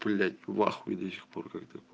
блять в ахуе до сих пор как то